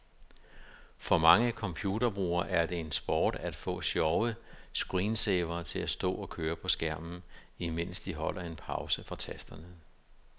For mange computerbrugere er det en sport at få sjove screensavere til at stå at køre på skærmen, imens de holder en pause fra tasterne.